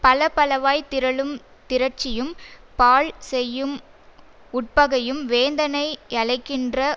பலபலவாய்த் திரளுந் திரட்சியும் பாழ் செய்யும் உட்பகையும் வேந்தனை யலைக்கின்ற